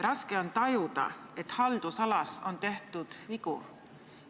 Raske on tajuda, et haldusalas on tehtud vigu.